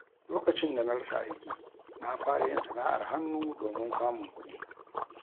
Lokacin da na rasa aiki, na fara yin sana’ar hannu domin samun kuɗi.